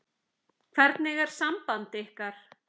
Hvernig er samband ykkar?